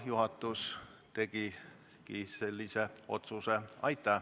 Juhatus tegigi sellise otsuse.